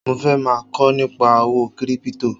Mo fẹ́ máa kọ́ nípa owó kírípítò